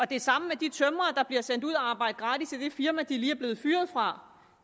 det samme med de tømrere der bliver sendt ud at arbejde gratis i det firma de lige er blevet fyret fra